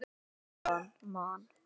Staðan: Man.